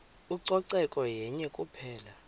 ucoceko yenye kuphela